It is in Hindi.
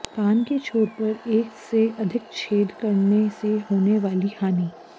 कान के छोर पर एक से अधिक छेद करने से होने वाली हानि